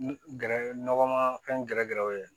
Gɛrɛ nɔgɔ ma fɛn gɛrɛ gɛrɛ o ye